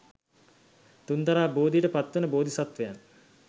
තුන්තරා බෝධියට පත්වන බෝධිසත්වයන්